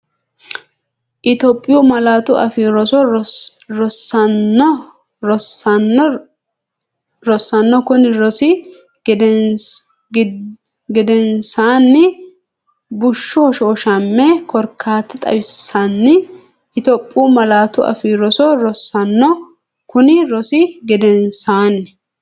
Itophiyu Malaatu Afii Roso Rosaano kunni rosi gedensaanni Bushshu hoshooshami korkaata xawissinanni Itophiyu Malaatu Afii Roso Rosaano kunni rosi gedensaanni.